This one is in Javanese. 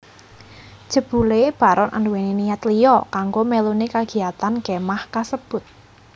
Jebulé Baron anduwèni niat liya kanggo meluni kagiyatan kemah kasebut